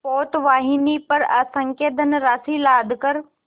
पोतवाहिनी पर असंख्य धनराशि लादकर